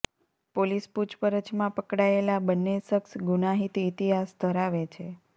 police પૂછપરછમાં પકડાયેલા બંન્ને શખસ ગુનાહિત ઈતિહાસ ધરાવે છે